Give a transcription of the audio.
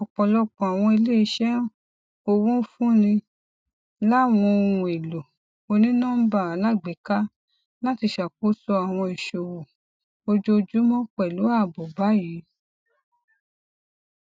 ọpọlọpọ awọn ileiṣẹ owo nfunni lá wọn ohun elo oninọmba alagbeka lati ṣakoso awọn iṣowo ojoojumọ pélú aabo bayi